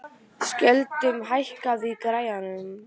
Skjöldur, hækkaðu í græjunum.